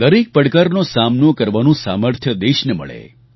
દરેક પડકારનો સામનો કરવાનું સામર્થ્ય દેશને મળે